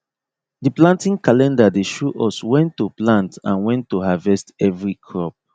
the planting calendar dey show us when to plant and when to harvest every crop